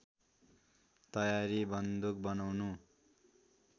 तयारी बन्दुक बनाउने